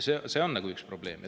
See on üks probleem.